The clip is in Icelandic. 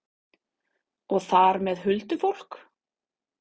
Og þar með huldufólk?